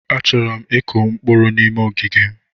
Achọrọ m ịkụ mkpụrụ n'ime ogige m.